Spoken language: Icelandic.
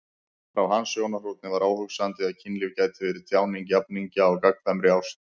Frá hans sjónarhorni var óhugsandi að kynlíf gæti verið tjáning jafningja á gagnkvæmri ást.